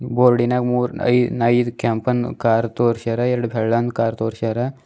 ಬೋರ್ಡಿನಾಗ್ ಮೂರು ಐ ಐದು ಕೆಂಪನ್ನ್ ಕಾರ್ ತೋರ್ಸ್ಯಾರ ಎರಡ್ ಬೆಳ್ಳನ್ ಕಾರ್ ತೋರ್ಸ್ಯಾರ.